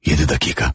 Yeddi dəqiqə.